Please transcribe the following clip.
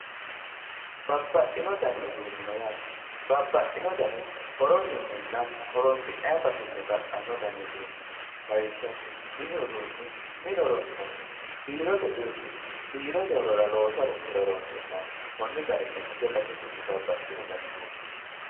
Baabaaxino danni uduni no yatte babaxino dani horosininna horinsinayi baseni baxano dani udunni no lawishaho minni uduni mine horonsinaniho birote uduni birote horora loosu harishora horonsinayiho koni garinni base basesinni baabaaxino danni uduni no